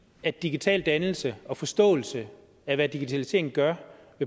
at digital dannelse og forståelse af hvad digitalisering gør